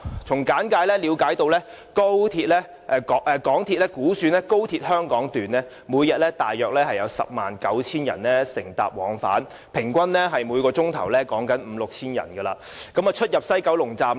從簡介了解到，港鐵公司估算每天約有 109,000 人乘搭高鐵往返香港段，平均每小時有五六千人出入西九龍站。